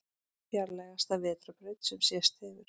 Fjarlægasta vetrarbraut sem sést hefur